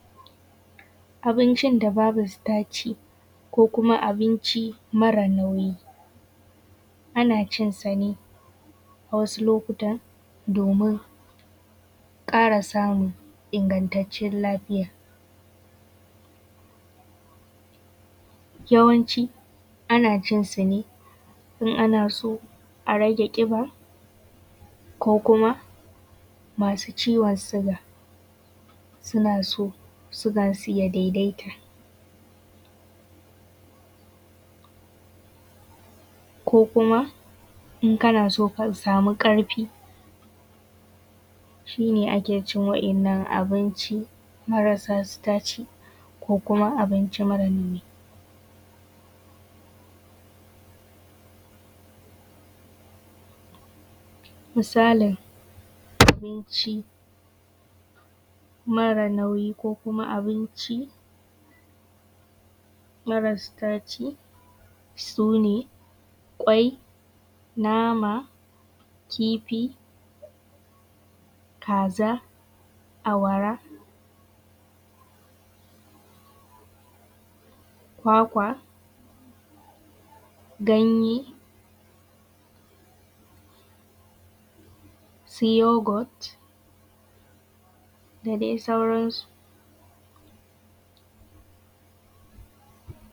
abincin da babu staci ko kuma abinci mara nauyi ana cin sa ne a wasu lokuta domin ƙara samun ingantacciyar lafiya yawancin ana cin sa ne in ana so a rage ƙiba ko kuma masu ciwon suga suna son sugar su ya daidai ko kuma in kana so ka samu ƙarfi shi ne ake cin wannan abinci marasa staci ko kuma abinci mara nauyi misalin abinci mara nauyi ko kuma abinci mara staci sune ƙwai nama kifi kaza awara kwakwa ganye su yogurt da dai sauran su